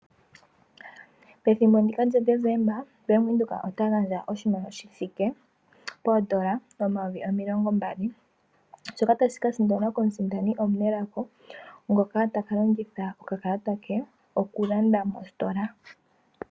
Pethimbo ndika lyadecemba Bank Windhoek ota gandja oshimaliwa shithike poondola omayovi omilongo mbali shoka tashikasindanwa komusindani omunelago ngoka takalongitha okakalata ke okulanda mositola.